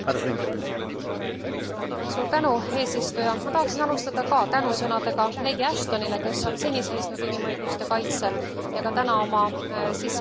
Ma tahaksin alustada ka tänusõnadega leedi Ashtonile, kes on seni seisnud inimõiguste kaitsel ja ka täna oma sissejuhatavas sõnavõtus võttis väga selge seisukoha.